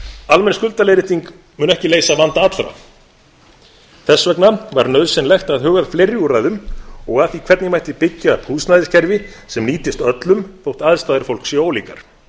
almenn skuldaleiðrétting mun ekki leysa vanda allra þess vegna var nauðsynlegt að huga að fleiri úrræðum og að því hvernig mætti byggja upp húsnæðiskerfi sem nýtist öllum þótt aðstæður fólks séu ólíkar